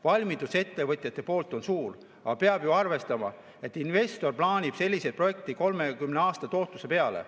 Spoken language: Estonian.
Valmidus ettevõtjate poolt on suur, aga peab ju arvestama, et investor plaanib sellise projekti 30 aasta tootluse peale.